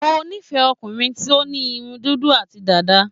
Mo nífẹ̀ẹ́ ọkùnrin tó ní irun dúdú àti dàda.